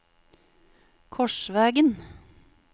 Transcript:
Korsvegen